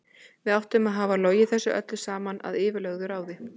Við áttum að hafa logið þessu öllu saman að yfirlögðu ráði.